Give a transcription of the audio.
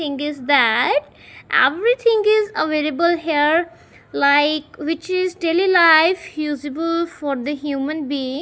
thing is that everything is available here like which is daily life usable for the human being.